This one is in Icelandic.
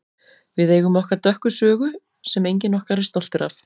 Við eigum okkar dökka sögu sem enginn okkar er stoltur af.